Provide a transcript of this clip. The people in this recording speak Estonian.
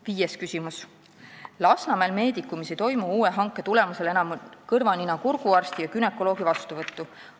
Viies küsimus: "Lasnamäel Medicumis ei toimu uue hanke tulemusel enam kõrva-nina-kurguarsti ja günekoloogi vastuvõttu.